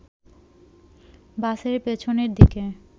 বাসের পেছনের দিকে